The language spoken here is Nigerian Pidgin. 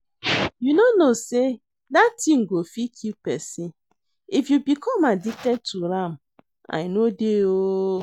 You no know say dat thing go fit kill person. If you become addicted to am I no dey oo